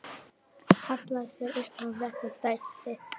Hallaði sér upp að vegg og dæsti.